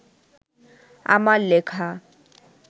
আমার লেখা